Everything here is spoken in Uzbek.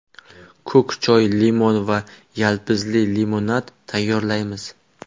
Ko‘k choy, limon va yalpizli limonad tayyorlaymiz.